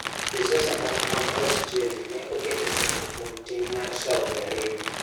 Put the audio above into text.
Josiasa moko mag Australia ne oketo ketho kuom tim mar Saudi Arabia.